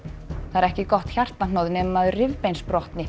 það er ekki gott hjartahnoð nema maður